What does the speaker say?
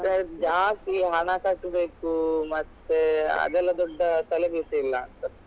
ಜಾಸ್ತಿ ಹಣ ಕಟ್ಬೇಕು ಮತ್ತೆ ಅದೆಲ್ಲ ದೊಡ್ಡ ತಲೆ ಬಿಸಿ ಇಲ್ಲಾಂತ.